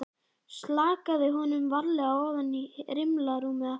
Slakaði honum varlega ofan í rimlarúmið aftur.